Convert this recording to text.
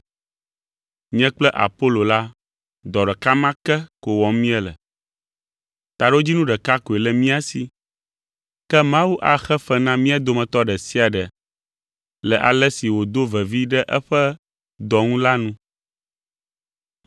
Nye kple Apolo la, dɔ ɖeka ma ke ko wɔm míele. Taɖodzinu ɖeka koe le mía si, ke Mawu axe fe na mía dometɔ ɖe sia ɖe le ale si wòdo vevi ɖe eƒe dɔ ŋu la nu.